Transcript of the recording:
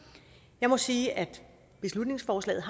jeg må sige at beslutningsforslaget